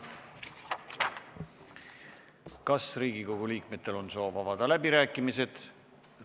Kas Riigikogu liikmetel on soovi avada läbirääkimised?